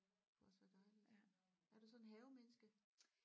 Kunne også være dejligt er du sådan et havemenneske